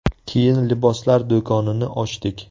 Keyin liboslar do‘konini ochdik.